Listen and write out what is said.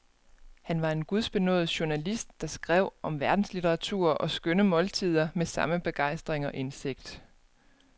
Han var en gudbenådet journalist, der skrev om verdenslitteratur og skønne måltider med samme begejstring og indsigt.